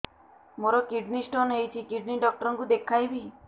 ମୋର kidney stone ହେଇଛି kidney doctor କୁ ଦେଖାଇବି